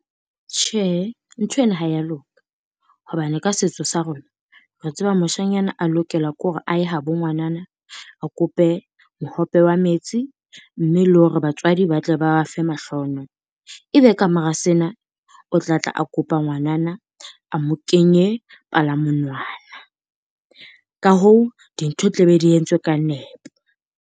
Tjhe, nthweno ha ya loka. Hobane ka setso sa rona re tseba moshanyana a lokela ke hore a ye ha bo ngwanana, a kope mohope wa metsi mme le hore batswadi ba tle ba ba fe mahlonolo. Ebe kamora sena o tlatla kopa ngwanana, a mo kenye palamonwana. Ka hoo dintho di tla be di entswe ka nepo.